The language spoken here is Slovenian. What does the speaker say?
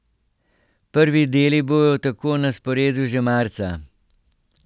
Prvi deli bodo tako na sporedu že marca.